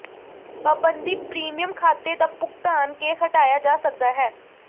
ਪਾਬੰਦੀ ਪ੍ਰੀਮੀਅਮ ਖਾਤੇ ਦਾ ਭੁਗਤਾਨ ਕੇ ਹਟਾਇਆ ਜਾ ਸਕਦਾ ਹੈ